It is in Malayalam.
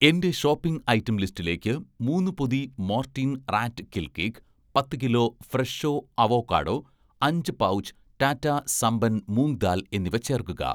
എന്‍റെ ഷോപ്പിംഗ് ഐറ്റം ലിസ്റ്റിലേക്ക് മൂന്ന് പൊതി 'മോർട്ടീൻ' റാറ്റ് കിൽ കേക്ക്, പത്തു കിലോ 'ഫ്രെഷോ' അവോക്കാഡോ അഞ്ച് പൗച് 'ടാറ്റാ' സംപൻ മൂംഗ് ദാൽ എന്നിവ ചേർക്കുക